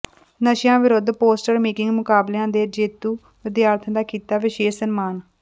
ਨਸ਼ਿਆਂ ਵਿਰੁੱਧ poster making ਮੁਕਾਬਲਿਆਂ ਦੇ ਜੇਤੂ ਵਿਦਿਆਰਥੀਆਂ ਦਾ ਕੀਤਾ ਵਿਸ਼ੇਸ਼ ਸਨਮਾਨ